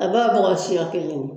A bɛ y'a bɔgɔ siya kelen